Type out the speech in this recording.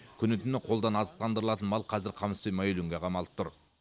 күні түні қолдан азықтандырылатын мал қазір қамыс пен майөлеңге қамалып тұр